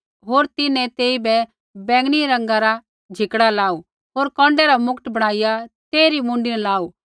होर तिन्हैं तेइबै बैंगनी रंगा रा झिकड़ा लाऊ होर कौन्डै रा मुकट बणाईया तेइरी मुँडी न लाऊ